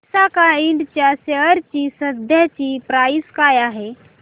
विसाका इंड च्या शेअर ची सध्याची प्राइस काय आहे